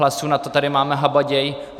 Hlasů tady na to máme habaděj.